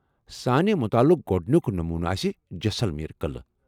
سانہِ مُطالعک گوٚڑنُیک نمونہٕ آسہِ جیسلمیر قٕلعہٕ ۔